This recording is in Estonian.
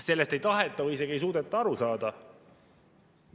Sellest ei taheta või isegi ei suudeta aru saada.